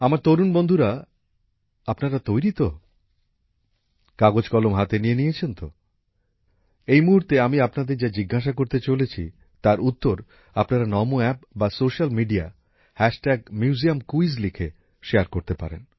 আমার তরুণ বন্ধুরা আপনারা তৈরী তো কাগজ কলম হাতে নিয়ে নিয়েছেন তো এই মুহূর্তে আমি আপনাদের যা জিজ্ঞাসা করতে চলেছি তার উত্তর আপনারা নমো অ্যাপ বা স্যোসাল মিডিয়াতে মিউজিয়ামকুইজ লিখে শেয়ার করতে পারেন